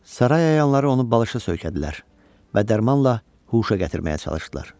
Saray əyanları onu balışa söykədilər və dərmanla huşa gətirməyə çalışdılar.